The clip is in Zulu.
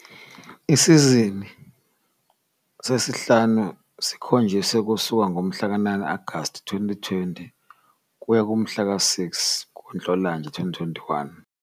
Isizini sesihlanu sikhonjiswe kusuka ngomhlaka-9 Agasti 2020 kuya kumhla zi-6 kuNhlolanja 2021.